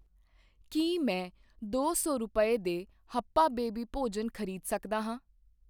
ਕੀ ਮੈਂ ਦੋ ਸੌ ਰੁਪਏ ਦੇ ਹੱਪਾ ਬੇਬੀ ਭੋਜਨ ਖਰੀਦ ਸਕਦਾ ਹਾਂ?